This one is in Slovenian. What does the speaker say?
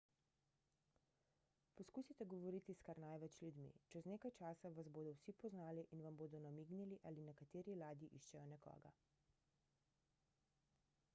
poskusite govoriti s kar največ ljudmi čez nekaj časa vas bodo vsi poznali in vam bodo namignili ali na kateri ladji iščejo nekoga